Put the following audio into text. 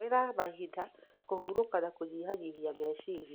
Tũmĩra mahinda kũhurũka na kũnyihanyihia meciria.